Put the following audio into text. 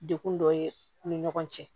Dekun dɔ ye u ni ɲɔgɔn cɛ